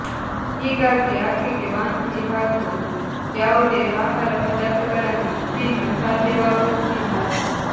ಹೀಗಾಗಿ ಆಕೆಗೆ ವಾಂತಿ ಹಾಗೂ ಯಾವುದೇ ಆಹಾರ ಪದಾರ್ಥಗಳನ್ನು ತಿನ್ನು ಸಾಧ್ಯವಾಗುತ್ತಿಲ್ಲ